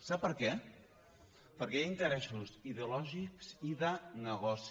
sap per què perquè hi ha interessos ideològics i de negoci